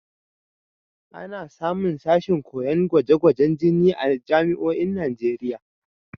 Ana samun sashin koyon gwaje-gwajen jini a jami'oin Najeriya.